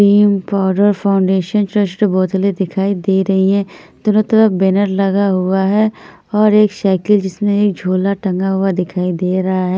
Cream powder foundation चश्ट बोतले दिखाई दे रही हैं तरह तरह बैनर लगा हुआ है और एक साईकिल जिसमे झोला टँगा हुआ दिखाई दे रहा है।